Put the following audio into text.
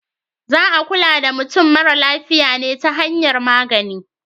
Za a kula da mutum mara lafiya ne ta hanyar magani.